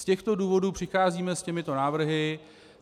Z těchto důvodů přicházíme s těmito návrhy.